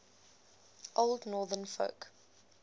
old northern folk